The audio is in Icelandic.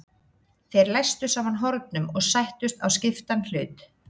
Þeir læstu saman hornum og sættust á skiptan hlut.